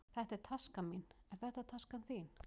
Þetta er taskan mín. Er þetta taskan þín?